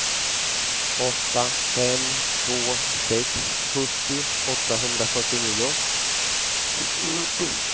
åtta fem två sex sjuttio åttahundrafyrtionio